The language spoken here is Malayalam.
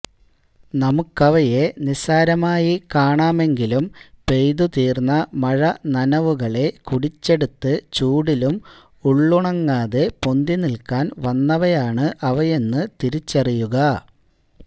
നമുക്കവയെ നിസ്സാരമായി കാണാമെങ്കിലും പെയ്തു തീര്ന്ന മഴ നനവുകളെ കുടിച്ചെടുത്ത് ചൂടിലും ഉള്ളുണങ്ങാതെ പൊന്തിനില്ക്കാന് വന്നവയാണ് അവയെന്ന് തിരിച്ചറിയുക